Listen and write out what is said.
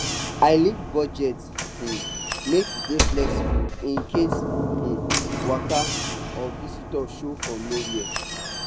i leave budget um make e dey flexible incase um waka um or visitors show from nowhere